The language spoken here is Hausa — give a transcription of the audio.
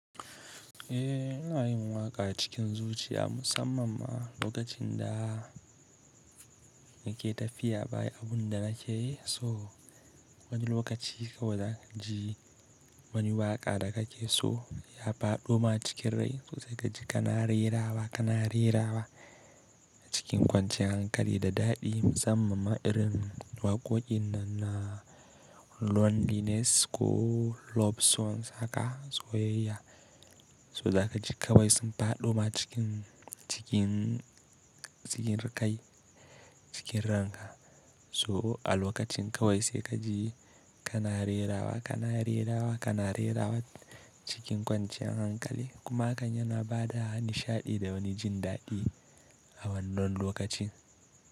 Eh ina yin waƙa cikin zuciya musamman ma lokacin da nake tafiya baya abin da nake so. Wani lokaci kawai za ka ji wani waƙa da kake so ya faɗo ma cikin rai sosai ka ji kana rerawa, kana rerawa cikin kwanciyar hankali da daɗi musamman ma irin waƙoƙin nan na loneliness ko love songs haka. Soyyaya, so za ka ji kawai sun faɗo ma cikin, cikin, cikin riƙayi, cikin ranka. So a lokacin kawai sai ka ji kana rerawa, kana rerawa, kana rerawa cikin kwanciyar hankali. Kuma hakan yana ba da nishaɗi da wani jin daɗi a wannan lokacin.